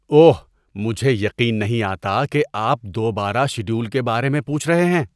اوہ، مجھے یقین نہیں آتا کہ آپ دوبارہ شیڈول کے بارے میں پوچھ رہے ہیں!